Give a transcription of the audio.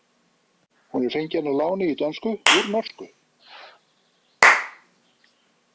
Hún er fengin að láni í dönsku úr norsku.